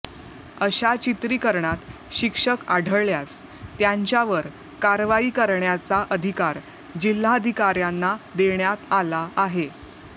अशा चित्रीकरणात शिक्षक आढळल्यास त्यांच्यावर कारवाई करण्याचा अधिकार जिल्हाधिकाऱ्यांना देण्यात आला आहे